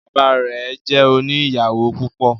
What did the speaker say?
Bàbá rẹ jẹ òní ìyàwó púpọ